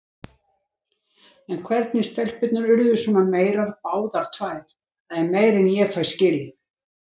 En hvernig stelpurnar urðu svona meyrar báðar tvær, það er meira en ég fæ skilið.